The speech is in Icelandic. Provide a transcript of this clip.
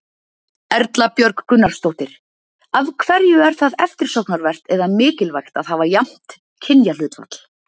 Erla Björg Gunnarsdóttir: Af hverju er það eftirsóknarvert eða mikilvægt að hafa jafnt kynjahlutfall?